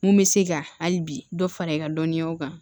Mun bɛ se ka hali bi dɔ fara i ka dɔnniyaw kan